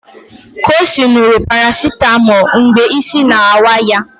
Kosi ṅụrụ parasetamol mgbe isi na-awa ya